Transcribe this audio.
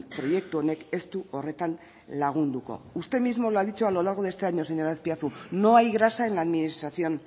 proiektu honek ez du horretan lagunduko usted mismo lo ha dicho a lo largo de este año señor azpiazu no hay grasa en la administración